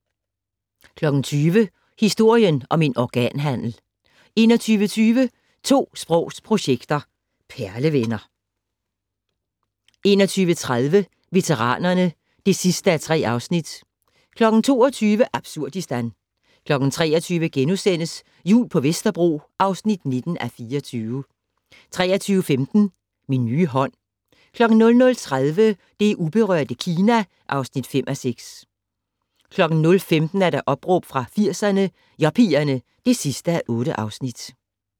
20:00: Historien om en organhandel 21:20: 2 sprogs projektet - perlevenner 21:30: Veteranerne (3:3) 22:00: Absurdistan 23:00: Jul på Vesterbro (19:24)* 23:15: Min nye hånd 00:30: Det uberørte Kina (5:6) 01:15: Opråb fra 80'erne - Yuppierne (8:8)